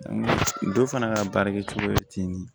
Dɔ fana ka baara kɛ cogo ye ten